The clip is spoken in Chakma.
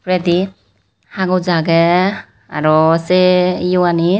oredi hagoch agey aro se yoanit.